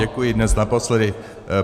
Děkuji, dnes naposledy.